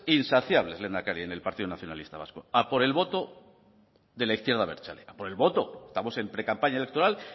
insaciable lehendakari en el partido nacionalista vasco a por el voto de la izquierda abertzale a por el voto estamos en precampaña electoral